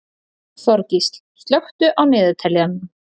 Þorgísl, slökktu á niðurteljaranum.